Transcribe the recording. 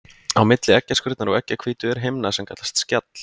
Á milli eggjaskurnar og eggjahvítu er himna sem kallast skjall.